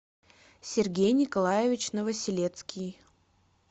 сергей николаевич новоселецкий